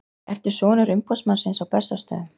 Ertu sonur umboðsmannsins á Bessastöðum?